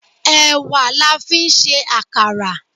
Èwà la fi ń ṣe àkàrà.